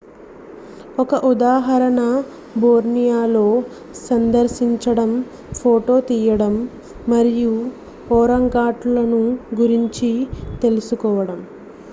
ఒక ఉదాహరణ బోర్నియోలో సందర్శించడం ఫోటో తీయడం మరియు ఒరాంగుటాన్లను గురించి తెలుసుకోవడం